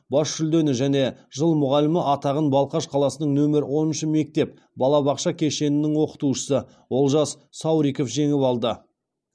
бас жүлдені және жыл мұғалімі атағын балқаш қаласының нөмір оныншы мектеп балабақша кешенінің оқытушысы олжас сауриков жеңіп алды